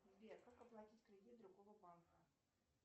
сбер как оплатить кредит другого банка